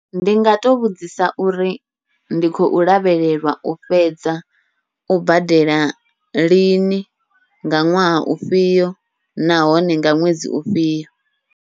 Ndi nga to vhudzisa uri ndi khou lavhelelwa u fhedza u badela lini, nga ṅwaha ufhio nahone nga ṅwedzi ufhio.